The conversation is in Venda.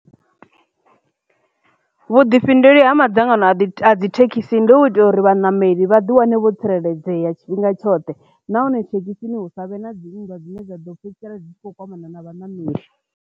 Vhuḓifhinduleli ha madzangano a ḓi a dzi thekhisi ndi u itela uri vhanameli vha ḓi wane vho tsireledzea tshifhinga tshoṱhe nahone thekhisini hu savhe na dzi nndwa dzine dza ḓo fhedzisela dzi tshi kho kwamana na vhanameli.